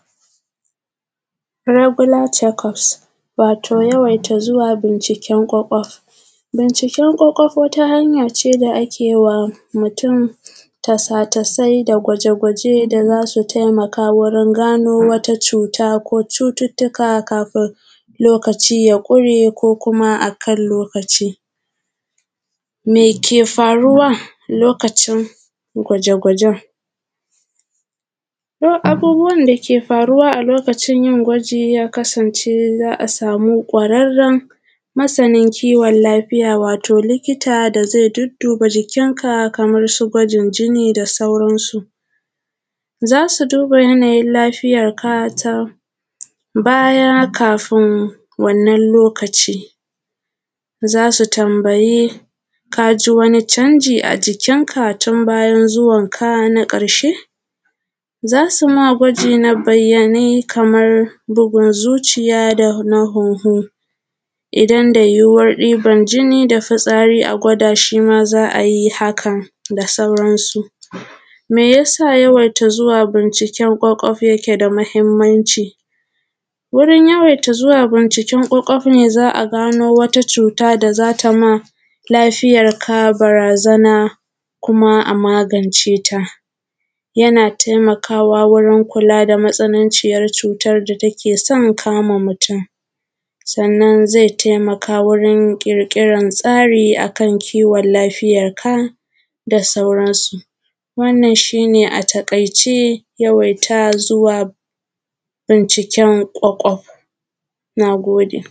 Regular checkup wato yawan zuwa binciken kwakwaf. Binciken kwakwaf wata hanya ce da ake wa mutum tasa-tasai da gwaje-gwaje da za su taimaka wajen gano wasu cuuttuka kafin lokaci ya ƙure, kuma akan lokaci meke faruwa. Lokacin gwaje-gwaje abubuwan da ke faruwa a lokacin yin gwaji ya kasance za a sama kwararren masanin kiwon lafiya wato likita da zai dudduba jikinka kamarsu gwajin jini da sauransu, za su duba yanayin lafiyanka baya kafin wannan lokaci, za su tanbayi ka ji wani canji a jikinka tun bayan zuwanka na ƙarshe. Za su ma gwaji na bayyane kaman bugun zuciya da huhu, idan da yuyuwan ɗiban jini da fitsari a gwada shi shi ma za su yi hakan da suuransu. Me ya sa yawan zuwa binciken kwakwaf yake da mahinmanci? Wurin yawaita zuwa binciken kwakwaf ne za a gano wani cuta da za ta ma lafiyanka barazana kuma a magance ta yana taimakawa wajen kula da matsananciyan cutan da take san kama mutum, sannan zai taimaka wurin ƙirtƙiran tsari a kan kiwon lafiyanka da sauransu. Wannan shi ne a taƙaice yawaita zuwa binciken kwakwaf. Na gode.